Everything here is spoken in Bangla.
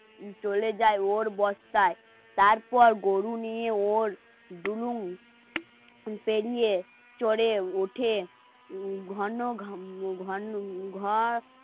চলে যায় ওর বর্ষায় তারপর গরু নিয়ে ওর দুলু পেরিয়ে চড়ে উঠে